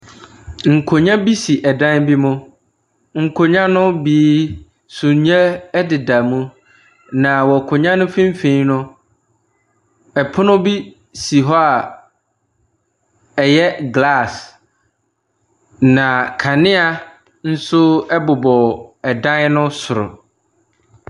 Nkonnwa bi si dan bi mu. Nkonnwa no bi sumiiɛ deda mu, na wɔ akonnwa no mfimfini no, pono bi si hɔ a ɛyɛ glass, na kanea nso bobɔ dan no soro.